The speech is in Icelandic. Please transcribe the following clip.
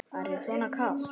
Er þér svona kalt?